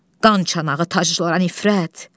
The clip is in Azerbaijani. Qan çanağı taclara nifrət!